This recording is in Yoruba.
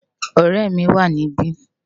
Òrè mi wá nibi